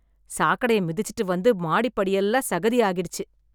சாக்கடைய மிதிச்சுட்டு வந்து மாடி படியெல்லாம் சகதி ஆகிடுச்சு.